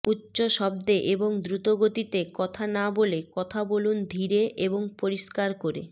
উচ্চ শব্দে এবং দ্রুতগতিতে কথা না বলে কথা বলুন ধীরে এবং পরিস্কার করে